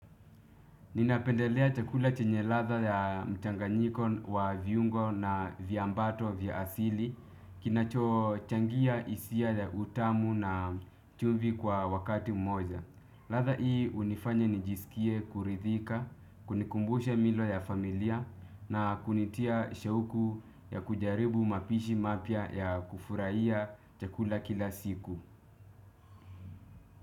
Ninapendelea chakula chenye ladha ya mchanganyiko wa viungo na viambato vya asili, kinacho changia hisia ya utamu na chumvi kwa wakati mmoja. Ladha hii hunifanya nijisikie kuridhika, kunikumbusha milo ya familia na kunitia shauku ya kujaribu mapishi mapya ya kufurahia chakula kila siku.